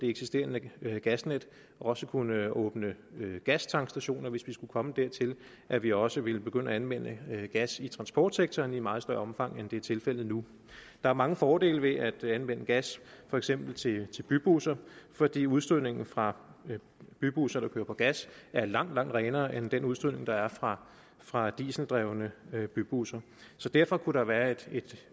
eksisterende gasnet også kunne åbne gastankstationer hvis vi skulle komme dertil at vi også ville begynde at anvende gas i transportsektoren i meget større omfang end det er tilfældet nu der er mange fordele ved at anvende gas for eksempel til bybusser fordi udstødningen fra bybusser der kører på gas er langt langt renere end den udstødning der er fra fra dieseldrevne bybusser så derfor kunne der være